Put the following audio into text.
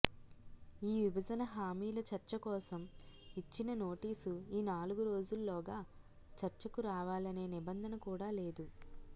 ఈ విభజన హామీల చర్చకోసం ఇచ్చిన నోటీసు ఈ నాలుగురోజుల్లోగా చర్చకు రావాలనే నిబంధన కూడా లేదు